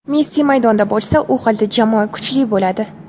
Messi maydonda bo‘lsa, u holda jamoa kuchli bo‘ladi.